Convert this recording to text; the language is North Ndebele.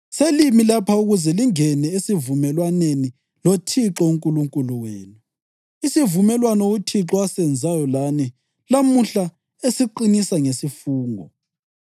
Selimi lapha ukuze lingene esivumelwaneni loThixo uNkulunkulu wenu, isivumelwano uThixo asenzayo lani lamuhla esiqinisa ngesifungo,